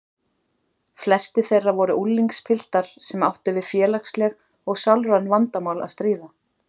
Flestir þeirra voru unglingspiltar sem áttu við félagsleg og sálræn vandamál að stríða.